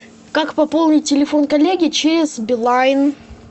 как пополнить телефон коллеги через билайн